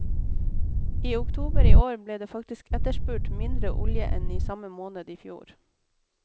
I oktober i år ble det faktisk etterspurt mindre olje enn i samme måned i fjor.